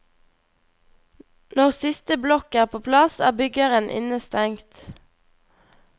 Når siste blokk er på plass, er byggeren innestengt.